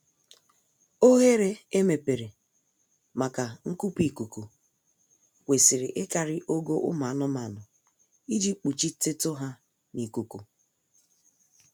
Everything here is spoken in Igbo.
Oghere emepere maka nkupu ikuku kwesịrị ịkarị ogo ụmụ anụmanụ iji kpuchitetu ha n'ikuku